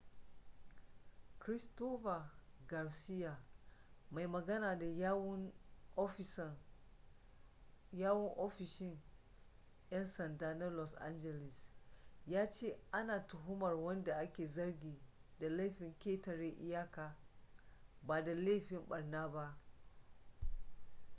christopher garcia mai magana da yawun ofishin 'yan sanda na los angeles ya ce ana tuhumar wanda ake zargi da laifin ketare iyaka ba da laifin barna ba